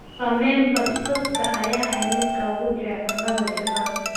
Ramen basbaaska ayaa ah midka ugu jecel cunnada Japan.